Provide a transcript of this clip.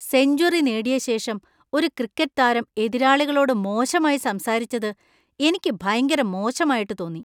Century നേടിയ ശേഷം ഒരു ക്രിക്കറ്റ് താരം എതിരാളികളോട് മോശമായി സംസാരിച്ചത് എനിക്ക് ഭയങ്കര മോശമായിട്ട് തോന്നി.